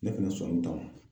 Ne kun be sɔn nunnu ta ma.